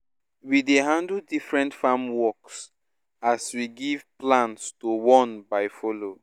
we dey handle different farm works as we give plans to one by follow